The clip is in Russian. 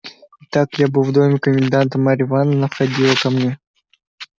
итак я был в доме коменданта марья ивановна входила ко мне